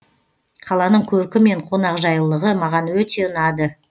қаланың көркі мен қонақжайлылығы маған өте ұнады